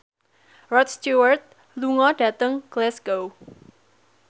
Rod Stewart lunga dhateng Glasgow